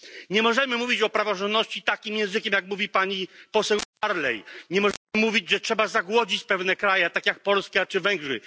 Nie możemy mówić o praworządności takim językiem, jakim mówi pani poseł Barley, nie można mówić, że trzeba zagłodzić pewne kraje, takie jak Polska czy Węgry.